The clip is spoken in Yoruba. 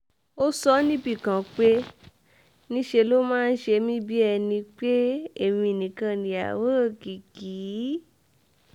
ó sọ ọ́ níbì kan pé um níṣẹ́ ló máa ń ṣe um mí bíi ẹni pé èmi nìkan ni ìyàwó òkìkí